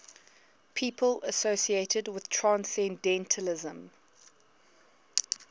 people associated with transcendentalism